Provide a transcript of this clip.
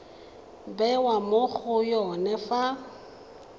bewa mo go yone fa